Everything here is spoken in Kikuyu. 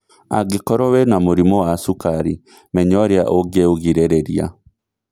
Angĩkorwo wĩna mũrimũ wa cukarĩ , menya ũrĩa ũngĩũgirĩrĩria